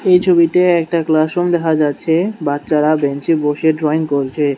এই ছবিতে একটা ক্লাসরুম দেখা যাচ্ছে বাচ্চারা বেঞ্চ এ বসে ড্রয়িং করছে।